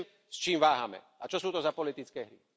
Neviem, s čím váhame a čo sú to za politické hry.